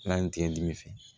N'a ye n tɛ dimi fɛ